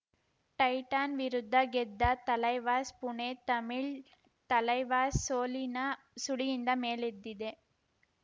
Titan ವಿರುದ್ಧ ಗೆದ್ದ ತಲೈವಾಸ್‌ ಪುಣೆ ತಮಿಳ್‌ ತಲೈವಾಸ್‌ ಸೋಲಿನ ಸುಳಿಯಿಂದ ಮೇಲೆದ್ದಿದೆ